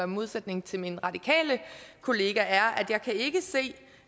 modsætning til min radikale kollega er